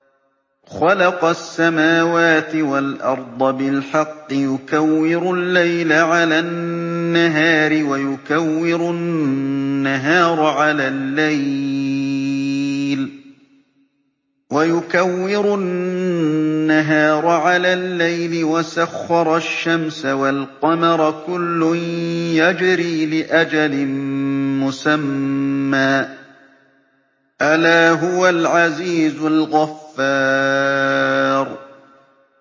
خَلَقَ السَّمَاوَاتِ وَالْأَرْضَ بِالْحَقِّ ۖ يُكَوِّرُ اللَّيْلَ عَلَى النَّهَارِ وَيُكَوِّرُ النَّهَارَ عَلَى اللَّيْلِ ۖ وَسَخَّرَ الشَّمْسَ وَالْقَمَرَ ۖ كُلٌّ يَجْرِي لِأَجَلٍ مُّسَمًّى ۗ أَلَا هُوَ الْعَزِيزُ الْغَفَّارُ